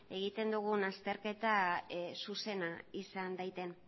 egiten duguna azterketa zuzena izan dadin